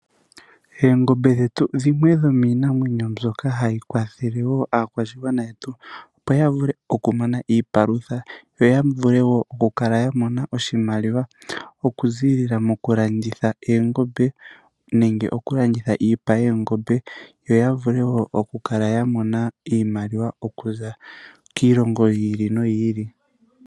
Oongombe dhetu dhimwe dhomiinamwenyo mbyoka hayi kwathele woo aakwashigwana yetu opo yavule okumona iipalutha yo yavule woo okukala yamona oshimaliwa okuziilila mokulanditha oongombe nenge okulanditha iipa yoongombe yo yavule oku okukala yamona iimaliwa okuza kiilongo yi ili noyi ili.